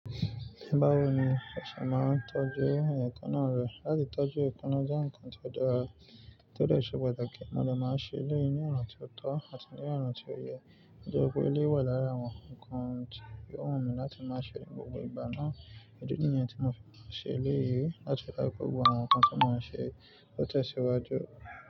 Báwo ni ẹ ṣe máa ń tọ́jú èékánná rẹ̀? Látí tọ́jú èékánná jẹ́ nǹkan tó dara, tó dẹ ṣe pàtàkì. Mo lè máa ṣe eléyìí ní ọ̀na tí ó tọ́ àti ní ọ̀na tí ó yẹ, nítorí pé eléyi wà lára àwọn nǹkan tí ó wù mí láti máa ṣe ní gbogbo ìgbà náà. Ìdí nìyẹn tí mo fi máa ṣe eléyìí láti dá gbogbo àwọn nǹkan tí màá ṣe lọ́tẹ́ẹ̀sì wájú.